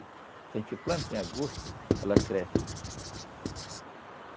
Se a gente planta em agosto, ela cresce.